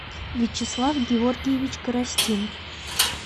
вячеслав георгиевич коростин